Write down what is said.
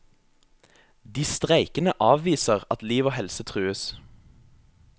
De streikende avviser at liv og helse trues.